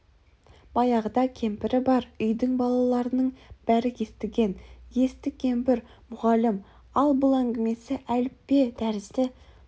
баяғыда кемпірі бар үйдің балаларының бәрі естіген есті кемпір мұғалім ал бұл әңгімесі әліппе тәрізді бір